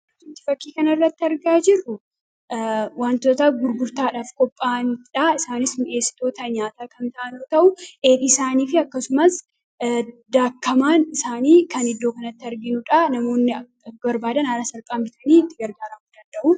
Waanti fakkii kana irratti argaa jirru wantoota gurgurtaadhaaf kopha'aaniidha. Isaanis mi'eessitoota nyaataa kan ta'an yoo ta'u dheedhii isaanii fi akkasumas daakkamaan isaanii kan iddoo kanatti arginuudhaa. Namoonni barbaadan haala salphaan bitanii itti gargaaramuu danda'u.